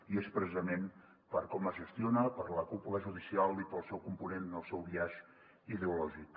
i és precisament per com es gestiona per la cúpula judicial i pel seu component el seu biaix ideològic